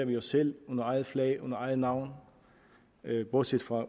vi os selv under eget flag og eget navn bortset fra